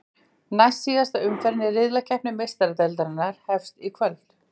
Næstsíðasta umferðin í riðlakeppni Meistaradeildarinnar hefst í kvöld.